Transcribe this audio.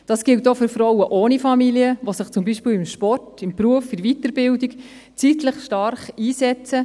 Dies gilt auch für Frauen ohne Familie, die sich zum Beispiel im Sport, im Beruf, in der Weiterbildung zeitlich intensiv einsetzen;